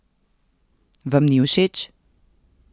Vam ni všeč?